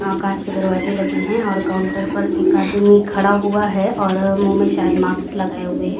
कांच के दरवाजे लगे हुए हैं और काउंटर पर एक आदमी खड़ा हुआ है और मुंह में शायद मास्क लगा हुए है।